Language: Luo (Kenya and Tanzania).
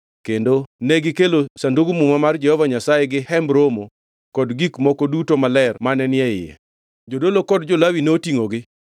kendo negikelo Sandug Muma mar Jehova Nyasaye gi Hemb Romo kod gik moko duto maler mane ni e iye. Jodolo kod jo-Lawi notingʼogi,